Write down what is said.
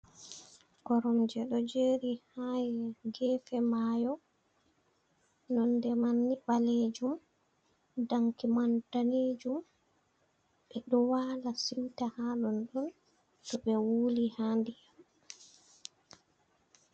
Koromje ɗo jeri ha gefe mayo nonde man ni ɓalejum danki man danejum. Ɓeɗo wala siuta ha ɗon ɗon to ɓe wuli ha ndiyam.